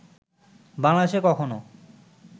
বাংলাদেশে কখনও